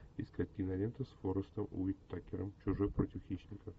искать киноленту с форестом уитакером чужой против хищника